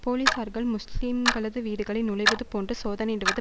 போலீசார் முஸ்லீம்களது வீடுகளில் நுழைவது போன்று சோதனையிடுவது